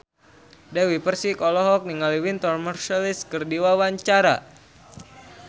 Dewi Persik olohok ningali Wynton Marsalis keur diwawancara